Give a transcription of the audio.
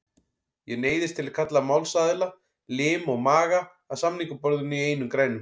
Ég neyðist til að kalla málsaðila, lim og maga, að samningaborðinu í einum grænum.